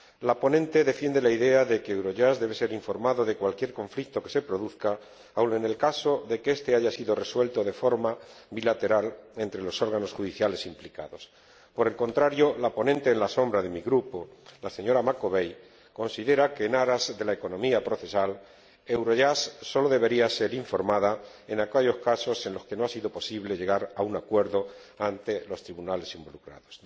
La ponente defiende la idea de que Eurojust debe ser informada de cualquier conflicto que se produzca, aun en el caso de que este haya sido resuelto de forma bilateral entre los órganos judiciales implicados. Por el contrario, la ponente alternativa de mi grupo, la señora Macovei, considera que, en aras de la economía procesal, Eurojust sólo debería ser informada en aquellos casos en los que no ha sido posible llegar a un acuerdo ante los tribunales involucrados.